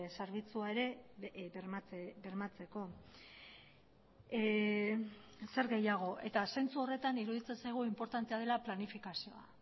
zerbitzua ere bermatzeko zer gehiago eta zentzu horretan iruditzen zaigu inportantea dela planifikazioa